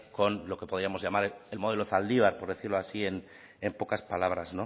con lo que podíamos llamar el modelo zaldibar por decirlo así en pocas palabras